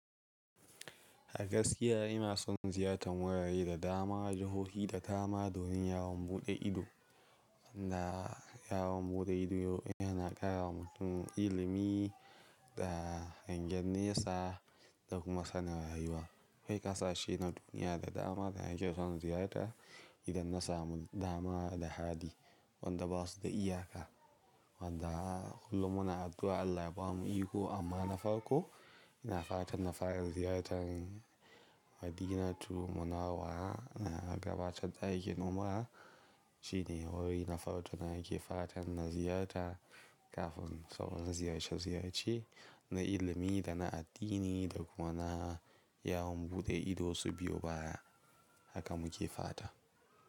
A gaskiya ina son ziyartar wurare da dama, jahohi da dama, domin yawon buɗe ido. Wanda yawon buɗe ido yana ƙara wa mutum ilimi da hangen nesa da kuma sanin rayuwa. Akwai kasashe na duniya da dama da nake son ziyarta idan na samu dama da hali, wanda ba su da iyaka. Wanda kullum muna addu'a Allah ya ba mu iko, amma na farko ina fatan na fara ziyartar Madinatu Munawwara na gabatar da aikin umrah, shine wuri na farko na yake fatan na ziyarta. Kafin sauran ziyarci ziyarci na ilimi da na addini da kuma na yawon buɗe ido su biyo baya haka muke fata.